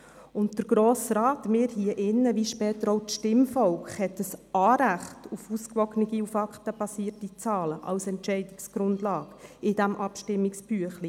Der Grosse Rat, wir hier drin, wie später auch das Stimmvolk, haben ein Anrecht auf ausgewogene und faktenbasierte Zahlen als Entscheidungsgrundlage im Abstimmungsbüchlein.